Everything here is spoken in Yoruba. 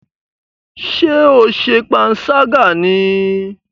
Ṣé o ṣe panṣágà ní í?